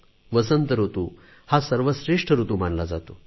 वसंत ऋतू हा सर्वश्रेष्ठ ऋतू मानला जातो